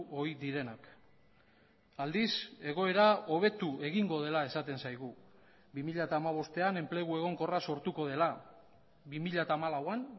ohi direnak aldiz egoera hobetu egingo dela esaten zaigu bi mila hamabostean enplegu egonkorra sortuko dela bi mila hamalauan